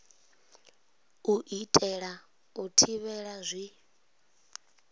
u itela u thivhela zwi